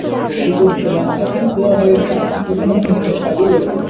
details দিলাম। অনেকদিন দেওয়া হয়েছে, এখনো পর্যন্ত আমার card ই এলোনা।